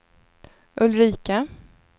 Ulrika